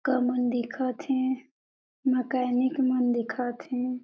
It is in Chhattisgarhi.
--क मन दिखत हे मकेनिक मन दिखत हे।